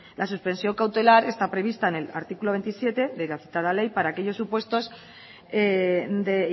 la suspensión cautelar está prevista en el artículo veintisiete de la citada ley para aquellos supuestos de